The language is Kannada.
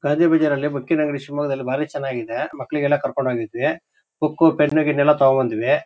ಗಾಂಧಿಬಜಾರಲ್ಲಿ ಬುಕ್ಕಿ ನಂಗಡಿ ಶಿವಮೊಗ್ಗದಲ್ಲಿ ಬಾರಿ ಚನ್ನಾಗಿದೆ.ಮಕ್ಕಳಿಗೆಲ್ಲ ಕರ್ಕೊಂಡು ಹೋಗಿದ್ವಿ ಬುಕ್ಕು ಪೆನ್ನು ಗಿನ್ನೂ ಎಲ್ಲ ತಗೊಂದು ಬಂದ್ವಿ.